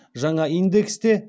жаңа индекс те